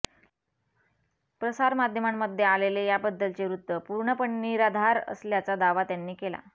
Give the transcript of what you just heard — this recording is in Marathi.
प्रसारमाध्यमांमध्ये आलेले याबद्दलचे वृत्त पूर्णपणे निराधार असल्याचा दावा त्यांनी केला